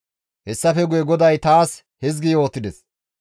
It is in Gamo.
Hessafe guye GODAY taas hizgi yootides.